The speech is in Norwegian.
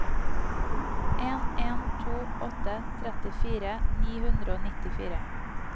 en en to åtte trettifire ni hundre og nittifire